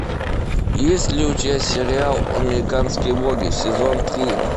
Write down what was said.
есть ли у тебя сериал американские боги сезон три